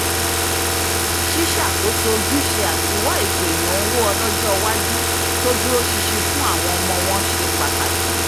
ṣíṣàkóso ojúṣe àti wá ètò ìnáwó ọlọ́jọ́wájú tó dúró sinsin fún àwọn ọmọ wọn se pataki